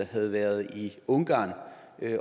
havde været i ungarn